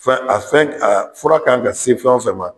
Fɛn a fɛn a fura k'an ka sen fɛn o fɛn ma